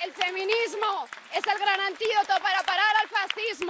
es el gran antídoto para parar al fascismo.